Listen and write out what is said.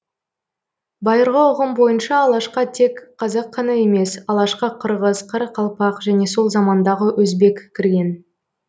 байырғы ұғым бойынша алашқа тек қазақ қана емес алашқа қырғыз қарақалпақ және сол замандағы өзбек кірген